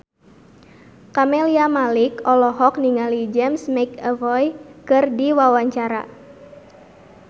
Camelia Malik olohok ningali James McAvoy keur diwawancara